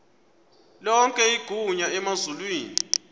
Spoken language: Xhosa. lonke igunya emazulwini